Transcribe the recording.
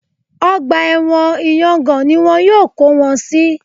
Ọgbà ẹ̀wọ̀n ìyangàn ni wọn yóò kó wọn sí